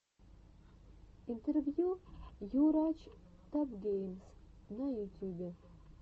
интервью йурач топгеймс на ютюбе